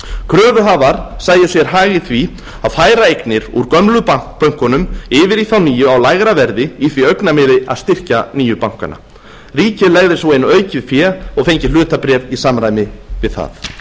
kröfuhafar sæju sér hag í því að færa eignir úr gömlu bönkunum yfir í þá nýju á lægra verði í því augnamiði að styrkja nýju bankana ríkið legði svo inn aukið fé og fengi hlutabréf í samræmi við það